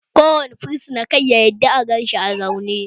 Kada kowane fursuna ya yarda aka ganshi a zaune!